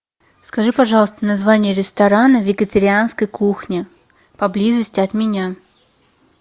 скажи пожалуйста название ресторана вегетарианской кухни поблизости от меня